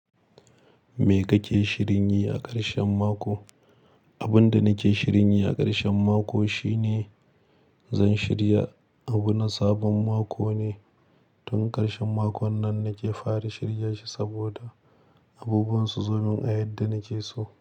Me kake shirinya a karshen mako? Abun da nake shirinyi a karshen mako shine zan shirya abuna sabon mako ne. Tun karshen makon nan nake fara shirya shi saboda abubuwan su zomin a yadda nake so.